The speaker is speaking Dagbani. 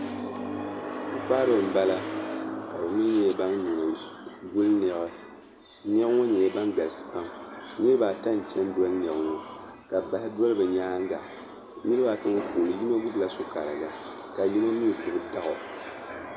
Pu'kpariba m-bala ka be yihi yihi ban ye guli nɛma n-nyɛ ŋun nyɛ ban galisi pam niriba ata n-chani doli niɣi ŋɔ ka bahi doli be nyaaŋa niriba ata ŋɔ puuni yino gbubi la su'kariga ka yino nyɛ gbubi daɣu.